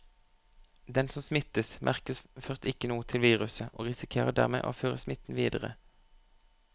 Den som smittes, merker først ikke noe til viruset og risikerer dermed å føre smitten videre.